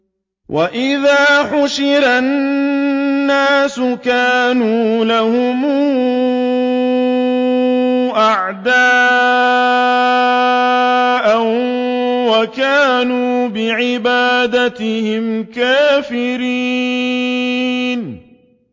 وَإِذَا حُشِرَ النَّاسُ كَانُوا لَهُمْ أَعْدَاءً وَكَانُوا بِعِبَادَتِهِمْ كَافِرِينَ